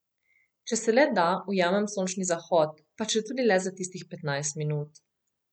Če se le da, ujamem sončni zahod, pa četudi le za tistih petnajst minut.